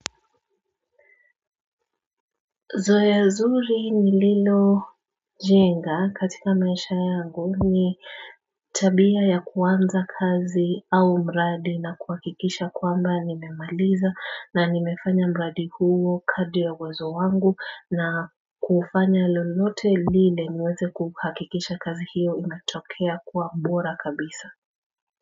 Zoea zuri ni Lilo jenga katika maisha yangu ni tabia ya kuanza kazi au mradi na kuhakikisha kwamba nimemaliza na nimefanya mradi huo kadri ya uwezo wangu na kufanya lolote lile niweze kuhakikisha kazi hiyo imetokea kuwa bora kabisa.